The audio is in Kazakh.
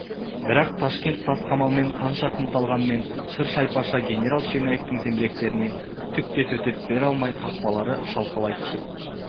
бірақ ташкент тас қамалмен қанша қымталғанмен шыр-шайпаша генерал черняевтің зеңбіректеріне түк те төтеп бере алмай қақпалары шалқалай түсіп